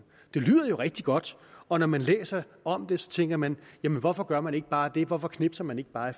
det lyder jo rigtig godt og når man læser om det tænker man hvorfor gør man ikke bare det hvorfor knipser man ikke bare